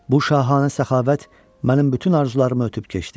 Bu şahanə səxavət mənim bütün arzularımı ötüb keçdi.